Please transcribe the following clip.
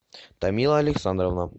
тамила александровна